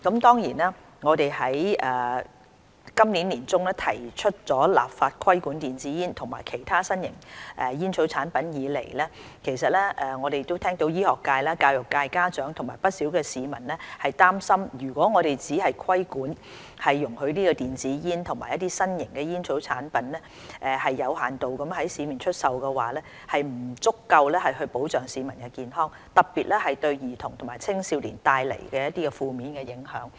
自今年年中提出立法規管電子煙及其他新型吸煙產品的建議以來，我們聽到醫學界、教育界、家長及不少市民擔心，如果只作規管，容許電子煙及其他新型吸煙產品有限度在市面出售，將不足以保障市民健康，特別會對兒童及青少年帶來十分負面的影響。